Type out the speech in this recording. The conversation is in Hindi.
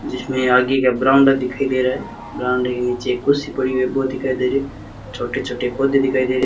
जिसमें आगे का बरामदा दिखाई दे रहा है बरामदे के नीचे कुर्सी पड़ी हुई है वो दिखाई दे रही है छोटे छोटे पौधे दिखाई दे रहे--